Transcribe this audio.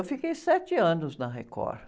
Eu fiquei sete anos na Record.